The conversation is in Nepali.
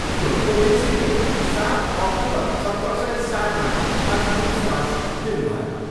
गुरु गोविन्द सिंहले सात अक्टुबर सत्र सय सातमा अन्तिम स्वास लिनुभयो।